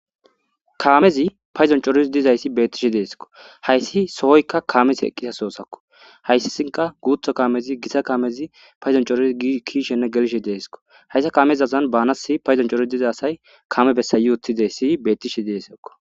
Kaamezi payzon corizi dizayssi beeththishe deeskko; hayssi sohoykka kaamethii eqqiza sohothakko; hayssisinkka guutho kaamezi githa kaamezi payzon coridi kiyishenne gelishe deeskko; hayssa kaamezazan baanasi payzon cori diza asay kaame bessa yuuthideyssi beththishe deeskko.